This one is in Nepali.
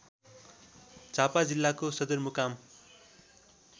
झापा जिल्लाको सदरमुकाम